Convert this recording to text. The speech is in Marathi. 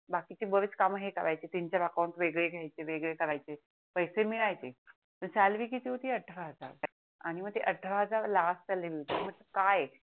बाकीचे बरेच काम हे करायचे तीन चार अकाउंट वेगळे घ्यायचे वेगळे करायचे पैसे मिळायचे काय पण सॅलरी किती होती अठरा हजार आणि ते अठरा हजार लास्ट सॅलरी होती मग काय